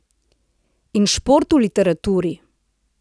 In šport v literaturi!